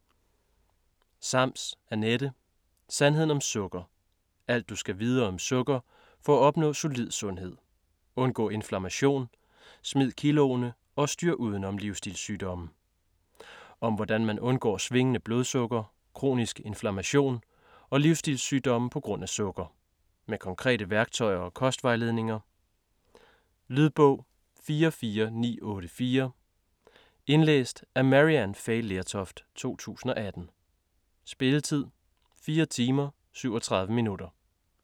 Sams, Anette: Sandheden om sukker: alt, du skal vide om sukker for at opnå solid sundhed: undgå inflammation, smid kiloene og styr uden om livstilssygdomme Om hvordan man undgår svingende blodsukker, kronisk inflammation og livsstilssygdomme på grund af sukker. Med konkrete værktøjer og kostvejledninger. Lydbog 44984 Indlæst af Maryann Fay Lertoft, 2018. Spilletid: 4 timer, 37 minutter.